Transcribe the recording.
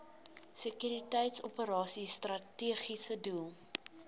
sekuriteitsoperasies strategiese doel